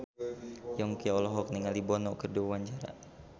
Yongki olohok ningali Bono keur diwawancara